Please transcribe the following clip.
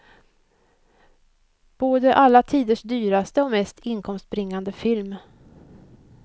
Både alla tiders dyraste och mest inkomstbringande film.